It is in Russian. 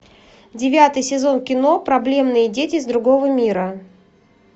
девятый сезон кино проблемные дети из другого мира